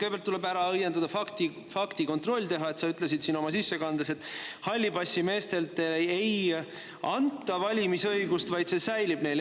Kõigepealt tuleb teha faktikontroll ja ära õiendada see, et sa ütlesid oma, et hallipassimeestele ei anta valimisõigust, vaid see säilib neil.